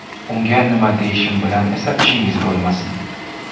Unga nima deyishim bilan esa ishingiz bo‘lmasin.